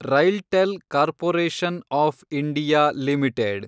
RailTel corporation of India limited